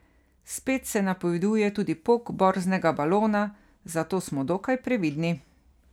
Spet se napoveduje tudi pok borznega balona, zato smo dokaj previdni.